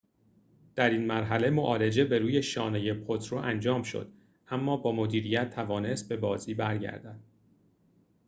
در این مرحله معالجه بر روی شانه پوترو انجام شد اما با مدیریت توانست به بازی برگردد